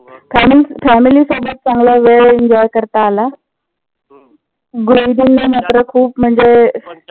family साठी चांगला वेळ enjoy करता आला. मात्र खूप म्हणजे